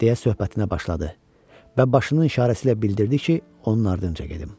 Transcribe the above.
deyə söhbətinə başladı və başının işarəsi ilə bildirdi ki, onun ardınca gedim.